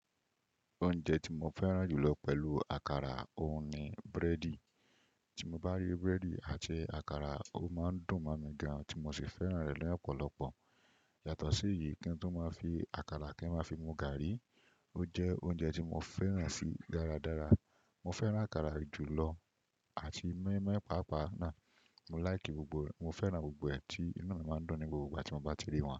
Oúnjẹ tí mo fẹ́ràn jù lọ pẹ̀lú àkàrà, òún, ni búrẹ́dì. Tí mo bá rí búrẹ́dì àti àkàrà, ó máa ń dùn mọ́ mi gan ti mo sì fẹ́ràn rẹ̀ ni ọ́pọ̀lọpọ̀. Yàtọ̀ sí èyí kí ń tun máa fi àkàrà kí ń máa fi mu gàrí, ó jẹ́ oúnjẹ tí mo fẹ́ràn sì dáradára. Mo fẹ́ràn àkàrà jù lọ àti mọ́ímọ́í pàápàá náà. Mo láìkì gbogbo rẹ̀, mo fẹ́ràn gbogbo ẹ̀ tí inu mi máa ń dun ní gbogbo ìgbà tí mo bá ti rí wọn.